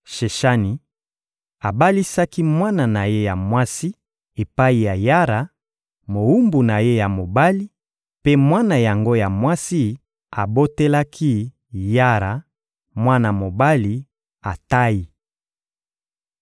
Sheshani abalisaki mwana na ye ya mwasi epai ya Yara, mowumbu na ye ya mobali, mpe mwana yango ya mwasi abotelaki Yara mwana mobali, Atayi.